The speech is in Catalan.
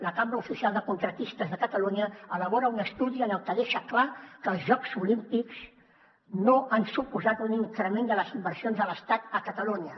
la cambra oficial de contractistes de catalunya elabora un estudi en el que deixa clar que els jocs olímpics no han suposat un increment de les inversions de l’estat a catalunya